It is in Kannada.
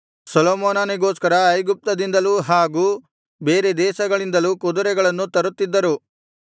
ಸೊಲೊಮೋನನಿಗೋಸ್ಕರ ಐಗುಪ್ತ್ಯದಿಂದಲೂ ಹಾಗೂ ಬೇರೆ ದೇಶಗಳಿಂದಲೂ ಕುದುರೆಗಳನ್ನು ತರುತ್ತಿದ್ದರು